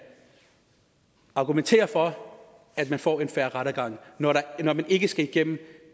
argumenteres for at man får en fair rettergang når man ikke skal igennem